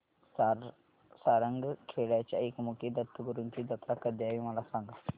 सारंगखेड्याच्या एकमुखी दत्तगुरूंची जत्रा कधी आहे मला सांगा